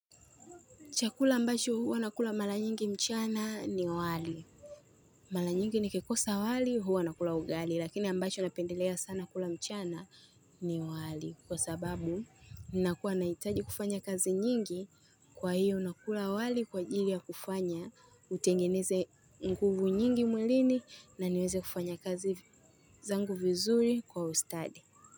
Chakula ambacho huwa nakula mara nyingi mchana ni wali. Mara nyingi nikikosa wali huwa nakula ugali lakini ambacho napendelea sana kula mchana ni wali. Kwa sababu nakuwa nahitaji kufanya kazi nyingi kwa hiyo nakula wali kwa ajiri ya kufanya utengeneze nguvu nyingi mwilini na niweze kufanya kazi zangu vizuri kwa ustadi.